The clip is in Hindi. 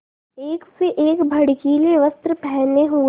एक से एक भड़कीले वस्त्र पहने हुए